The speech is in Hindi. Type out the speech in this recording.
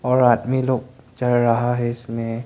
और आदमी लोग चढ़ रहा है इसमें।